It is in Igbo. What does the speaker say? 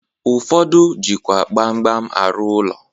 Ụfọdụ jikwa gbam gbam arụ ụlọ.